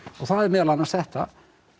það er meðal annars þetta